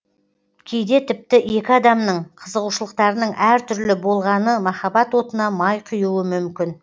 кейде тіпті екі адамның қызығушылықтарының әр түрлі болғаны махаббат отына май құюы мүмкін